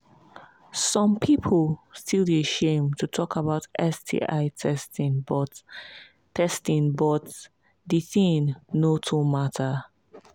some people still they shame to talk about sti testing but testing but the thing no too matter